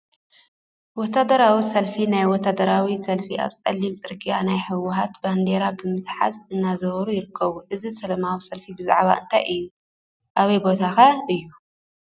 ወታደራዊ ሰልፊ ናይ ወታደራዊ ሰልፊ አብ ፀሊም ፅርግያ ናይ ህወሓት ባንዴራ ብምትሓዝ እናዘወሩ ይርከቡ፡፡ እዚ ሰለማዊ ሰልፊ ብዛዕባ እንታይ እዩ? አበይ ቦታ ኸ እዩ?